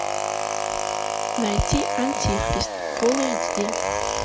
найти антихрист фул эйч ди